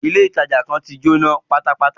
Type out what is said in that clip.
Ilé ìtàjà kan tí Jóná pátápátá.